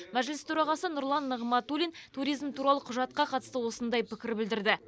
мәжіліс төрағасы нұрлан нығматулин туризм туралы құжатқа қатысты осындай пікір білдірді